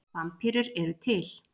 vampírur eru til